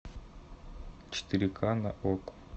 четыре ка на окко